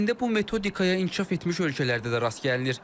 Əslində bu metodikaya inkişaf etmiş ölkələrdə də rast gəlinir.